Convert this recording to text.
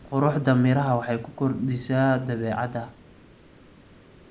Quruxda miraha waxay ku kordhisaa dabeecadda.